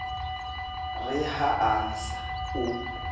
re ha a sa o